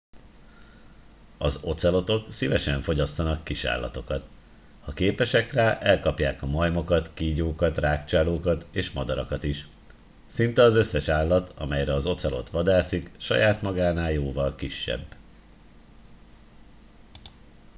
az ocelotok szívesen fogyasztanak kisállatokat ha képesek rá elkapják a majmokat kígyókat rágcsálókat és madarakat is szinte az összes állat amelyre az ocelot vadászik saját magánál jóval kisebb